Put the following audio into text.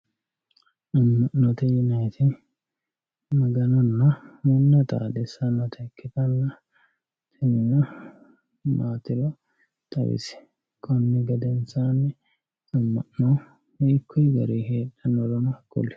Ama'note yinaniti maganuyina manuyi xaadisanotta ikkitanna, amana maatiro xawisi, koni gedensanni ama'no hiikuyi gariyi heedhanorono kuli